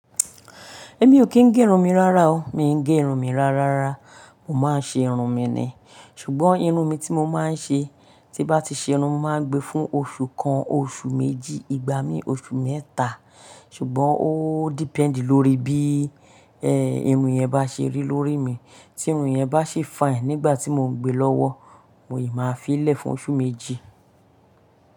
Èmi ò kí ń gé irun mi rárá o. Mi ń gé irun mi rárá rárá rara, mo máa ń ṣe irun mi ni. Ṣùgbọ́n irun mi tí mo máa ń ṣe, tí bá ti ṣe irun, mo máa ń gbe fún oṣù kan, oṣù méjì, ìgbà mí oṣù mẹ́ta. Ṣùgbọ́n ó dependi lórí bí, ẹ, irun yẹn bá ṣe rí lórí mi. Tí irun yẹn bá ṣe fine nígbà tí mo ń gbe lọ́wọ́, mo yèé máa fi í lẹ̀ fún oṣù méjì.